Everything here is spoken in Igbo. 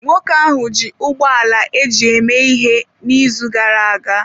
Nwoke ahụ ji ụgbọ ala eji eme ihe n'izu gara aga.